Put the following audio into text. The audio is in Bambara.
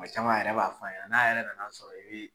Tuma caman a yɛrɛ b'a fɔ an ɲɛna n'a yɛrɛ nan'a sɔrɔ i bɛ